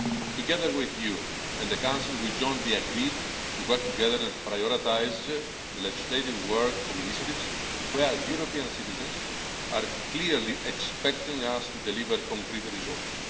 Together with you and the Council, we jointly agreed to work together to prioritise the legislative work of initiatives where European citizens are clearly expecting us to deliver concrete results.